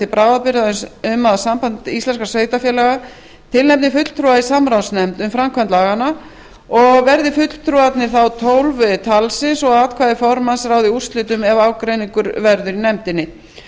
bráðabirgða um að samband íslenskra sveitarfélaga tilnefni fulltrúa í samráðsnefnd um framkvæmd laganna og verði verða fulltrúarnir þá tólf talsins og að atkvæði formanns ráði úrslitum ef ágreiningur verður í nefndinni